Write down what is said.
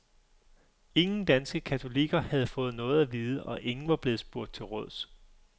Ingen danske katolikker havde fået noget at vide, og ingen var blevet spurgt til råds.